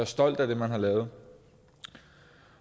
stolt af det man har lavet